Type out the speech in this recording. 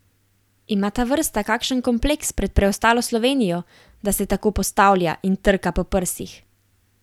Ima ta vrsta kakšen kompleks pred preostalo Slovenijo, da se tako postavlja in trka po prsih?